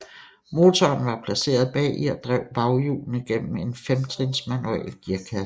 Motoren var placeret bagi og drev baghjulene gennem en femtrins manuel gearkasse